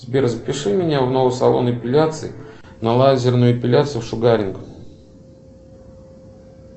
сбер запиши меня в новый салон эпиляции на лазерную эпиляцию шугаринг